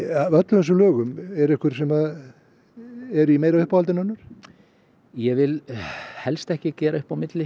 öllum þessum lögum hver eru í uppáhaldi ég vil helst ekki gera upp á milli